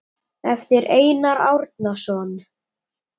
eftir Einar Árnason